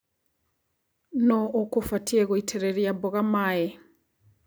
Nũu ũkũbatie gũitĩrĩria mboga maĩ.